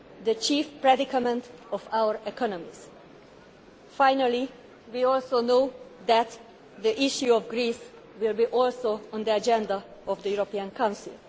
the chief predicament of our economies. Finally, we know too that the issue of Greece will be also on the agenda of the European Council.